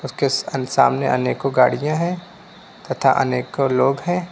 के सा सामने अनेकों गाड़िया है तथा अनेकों लोग है।